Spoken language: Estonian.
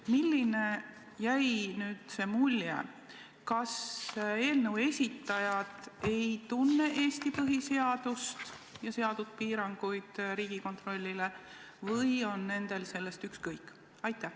Milline mulje teile jäi: kas eelnõu esitajad ei tunne Eesti põhiseadust ja seatud piiranguid Riigikontrollile või on nendel sellest ükskõik?